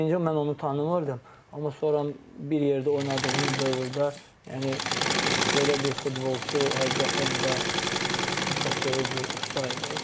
Birinci mən onu tanımırdım, amma sonra bir yerdə oynadığım dövrdə yəni elə bir futbolçu həqiqətən də çox böyük bir usta idi.